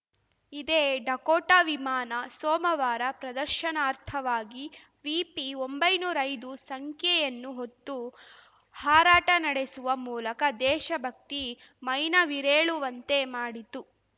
ಇದೇ ಡಕೋಟಾ ವಿಮಾನ ಸೋಮವಾರ ಪ್ರದರ್ಶನಾರ್ಥವಾಗಿ ವಿಪಿಒಂಬೈನೂರ ಐದು ಸಂಖ್ಯೆಯನ್ನು ಹೊತ್ತು ಹಾರಾಟ ನಡೆಸುವ ಮೂಲಕ ದೇಶಭಕ್ತಿ ಮೈನವಿರೇಳುವಂತೆ ಮಾಡಿತು